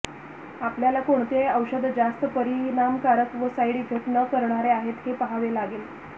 आपल्याला कोणते औषध जास्त परिणामकारक व साईड इफेक्ट न करणारे आहेत हे पाहावे लागेल